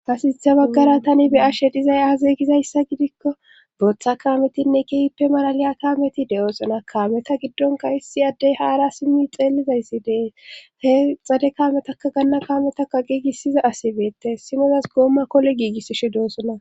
Hasinitha baggara tani be ashe dizay aazeygizayssa gidikko booththa kaametinne kihippe malaliya kaameti de7oosana kaameta giddonka hissi addey haara simmi xeellizayssi dee he xade kaametakka ganna kaametaka giigisiza asi beette simozas goomma kole giigissishe doossona